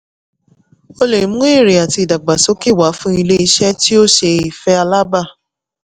ó lè mú èrè àti ìdàgbàsókè wá fún ilé-iṣẹ́ tí ó ṣe ìfẹ́ alábàá.